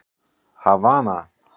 Havana